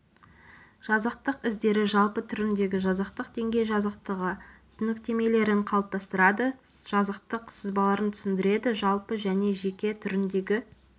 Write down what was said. жазықтық іздері жалпы түріндегі жазықтық деңгей жазықтығы түсініктемелерін қалыптастырады жазықтық сызбаларын түсіндіреді жалпы және жеке түріндегі